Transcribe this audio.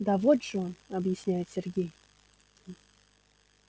да вот же он объясняет сергей